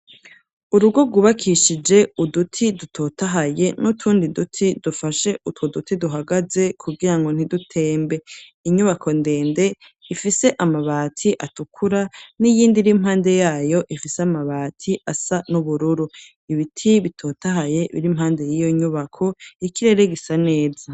Urugo Gwubakishije uduti dutotahaye n'utundi duti dufashe utwo duti duhagaze, kugira ngo ntidutembe .Inyubako ndende ifise amabati atukura n'iyindi iri mpande yayo ifise amabati asa n'ubururu, ibiti bitotahaye biri mpande y'iyo nyubako ikirere gisa neza.